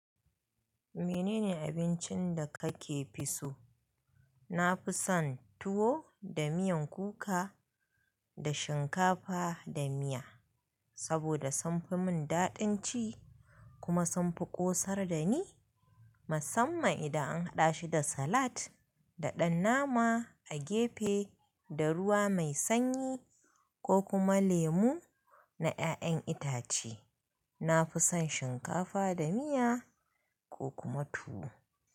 Menene abincin da kake fi so? Na fi son tuwo da miyan kuka da shinkafa da miya saboda sunfi mun daɗin ci kuma sunfi ƙosar da ni, musamman idan an haɗa shi da salat da ɗan nama a gefe da ruwa mai sanyi ko kuma lemu na 'ya'yan itace. Na fi son shinkafa da miya ko kuma tuwo.